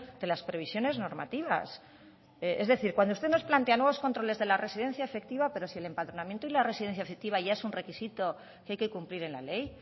de las previsiones normativas es decir cuando usted nos plantea nuevos controles de la residencia efectiva pero si el empadronamiento y la residencia efectiva ya es un requisito que hay que cumplir en la ley